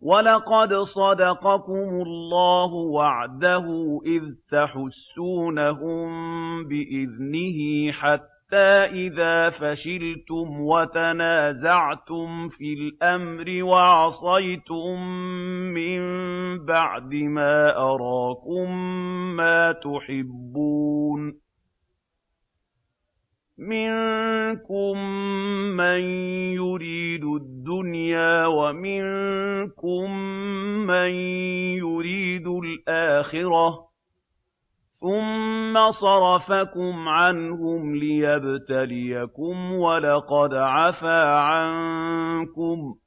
وَلَقَدْ صَدَقَكُمُ اللَّهُ وَعْدَهُ إِذْ تَحُسُّونَهُم بِإِذْنِهِ ۖ حَتَّىٰ إِذَا فَشِلْتُمْ وَتَنَازَعْتُمْ فِي الْأَمْرِ وَعَصَيْتُم مِّن بَعْدِ مَا أَرَاكُم مَّا تُحِبُّونَ ۚ مِنكُم مَّن يُرِيدُ الدُّنْيَا وَمِنكُم مَّن يُرِيدُ الْآخِرَةَ ۚ ثُمَّ صَرَفَكُمْ عَنْهُمْ لِيَبْتَلِيَكُمْ ۖ وَلَقَدْ عَفَا عَنكُمْ ۗ